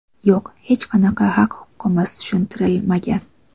Yo‘q, hech qanaqa haq-huquqimiz tushuntirilmagan.